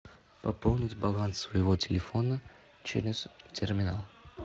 пополнить баланс своего телефона через терминал